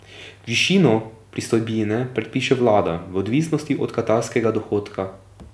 Višino pristojbine predpiše vlada v odvisnosti od katastrskega dohodka.